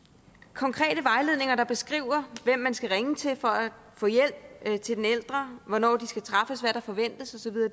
konkrete vejledninger der beskriver hvem man skal ringe til for at få hjælp til den ældre hvornår de kan træffes hvad der forventes